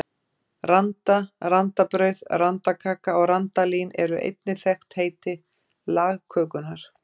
Randa, randabrauð, randakaka og randalín eru einnig þekkt heiti lagkökunnar.